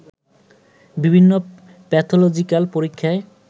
বিভিন্ন প্যাথলজিক্যাল পরীক্ষায়